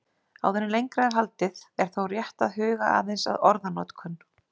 Áður en lengra er haldið er þó rétt að huga aðeins að orðanotkun.